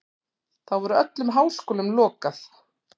Þá verður öllum háskólum lokað.